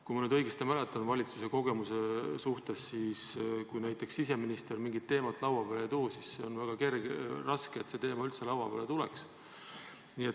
Kui ma õigesti mäletan oma kogemustest valitsuses, siis on nii, et kui näiteks siseminister mingit sellist teemat lauale ei too, siis on väga raske saavutada, et see teema laua peale tuleks.